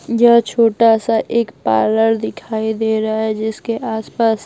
यह छोटा सा एक पार्लर दिखाई दे रहा है जिसके आसपास--